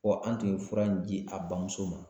an tun ye fura in di a bamuso ma